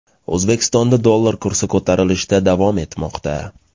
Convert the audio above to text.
O‘zbekistonda dollar kursi ko‘tarilishda davom etmoqda.